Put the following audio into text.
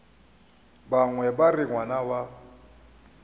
bangwe ba re ngwana wa